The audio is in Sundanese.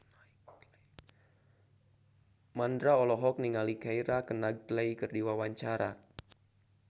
Mandra olohok ningali Keira Knightley keur diwawancara